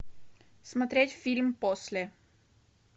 смотреть фильм после